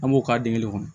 An b'o k'a den kelen kɔnɔ